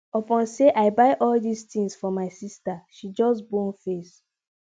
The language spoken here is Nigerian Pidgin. upon sey i buy all dis tins for my sista she just bone face